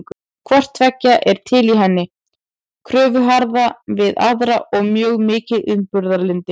Hvort tveggja er til í henni, kröfuharka við aðra og mjög mikið umburðarlyndi.